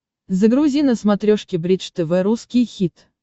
загрузи на смотрешке бридж тв русский хит